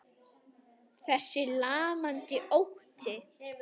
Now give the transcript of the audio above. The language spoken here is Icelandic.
Þessi lamandi ótti.